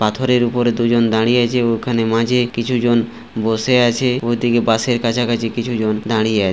পাথরের উপরে দুজন দাঁড়িয়ে আছে। ওখানে মাঝে কিছু জন বসে আছে। ওই দিকে বাসের কাছাকাছি কিছু জন দাঁড়িয়ে আ--